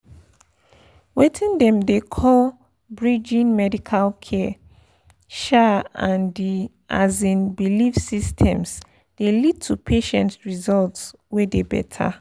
weting dem dey call pause— bridging pause medical care um and the um belief systems dey lead to patient results wey dey better.